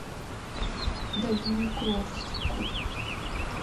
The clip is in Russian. дальнегорску